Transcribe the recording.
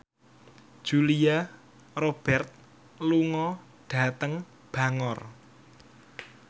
Julia Robert lunga dhateng Bangor